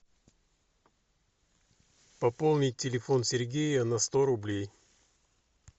пополнить телефон сергея на сто рублей